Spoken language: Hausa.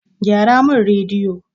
Gyara min rediyo!